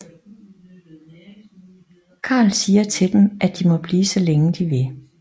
Karl siger til dem at de må blive så længe de vil